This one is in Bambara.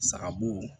Sagabo